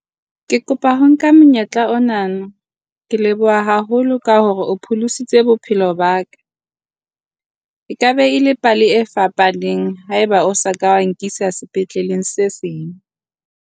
Ke kopa ho nka monyetla ona, ke leboha haholo ka hore o pholositse bophelo ba ka. Ekabe e le pale e fapaneng haeba o sa ka nkisa sepetlele se seng.